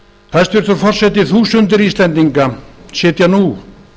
hæstvirtur forseti þúsundir íslendinga sitja nú